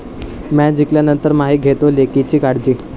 Match जिंकल्यानंतर 'माही' घेतोय लेकीची काळजी!